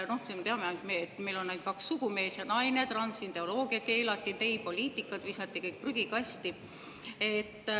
No me teame neid: meil on ainult kaks sugu, mees ja naine, transideoloogia keelati, geipoliitika visati prügikasti.